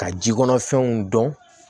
Ka jikɔnɔ fɛnw dɔn